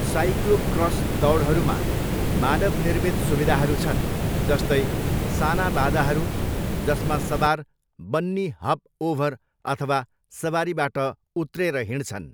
Cyclocross दौडहरूमा मानव निर्मित सुविधाहरू छन्, जस्तै साना बाधाहरू जसमा सवार बन्नी हप ओभर अथवा सवारीबाट उत्रेर हिँड्छन्।